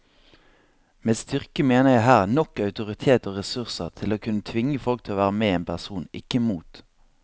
Med styrke mener jeg her nok autoritet og ressurser til å kunne tvinge folk til å være med en person, ikke mot.